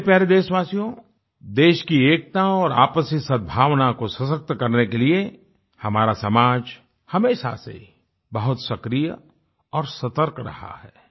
मेरे प्यारे देशवासियो देश की एकता और आपसी सदभावना को सशक्त करने के लिए हमारा समाज हमेशा से बहुत सक्रिय और सतर्क रहा है